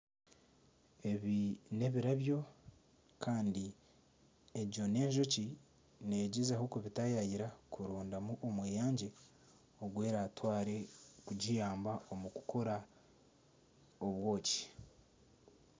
Ebi nebirabyo kandi egyo n'enjoki negyezaho kubitayaayira kurondamu omweyangye ogu eratwaare kugiyamba okukora obwoki